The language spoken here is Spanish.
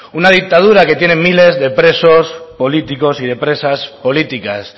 una dictadura que tiene miles de presos políticos y de presas políticas